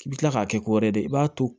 I bɛ tila k'a kɛ ko wɛrɛ ye dɛ i b'a to